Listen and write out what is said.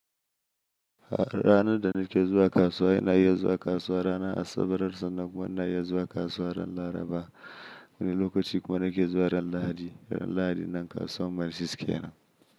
Ranar da nake zuwa kasuwa ina iya zuwa kasuwa ranar Asabar sannan kuma ina iya zuwa kasuwa ran Laraba. Wani lokaci kuma nake zuwa ran Lahadi, ran Lahadi nan kasuwar Mile Six kenan.